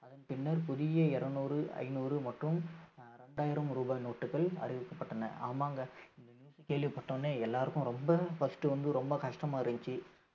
அதன் பின்னர் புதிய இருநூறு ஐந்நூறு மற்றும் ஆஹ் இரண்டாயிரம் ரூபாய் note டுகள் அறிவிக்கப்பட்டன ஆமாங்க இந்த news கேள்விப்பட்ட உடனே எல்லாருக்கும் ரொம்ப first வந்து ரொம்ப கஷ்டமா இருந்துச்சு